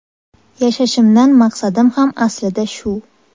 Yashashimdan maqsadim ham aslida shu.